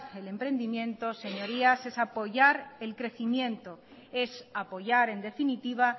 el emprendimiento señorías es apoyar el crecimiento es apoyar en definitiva